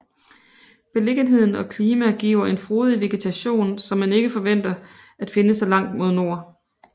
Beliggenheden og klima giver en frodig vegetation som man ikke forventer at finde så langt mod nord